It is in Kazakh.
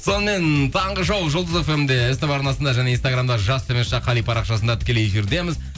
сонымен таңғы шоу жұлдыз фм де ств арнасында және инстаграмда жас қали парақшасында тікелей эфирдеміз